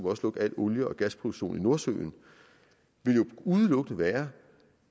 også lukke al olie og gasproduktion i nordsøen ville jo udelukkende være